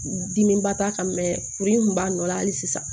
Dimiba t'a kan kuru in kun b'a nɔ la hali sisan